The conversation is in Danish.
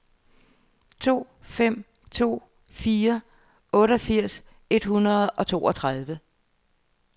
to fem to fire otteogfirs et hundrede og toogtredive